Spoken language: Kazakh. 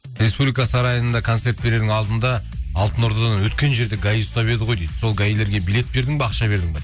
республика сарайында концерт берердің алдында алтынордадан өткен жерде гаи ұстап еді ғой дейді сол гаи лерге билет бердің бе ақша бердің бе